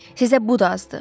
Sizə bu da azdır.